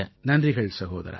நன்றிகள் சகோதரா